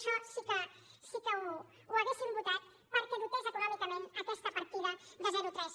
això sí que ho haurien votat perquè dotés econòmicament aquesta partida de zero a tres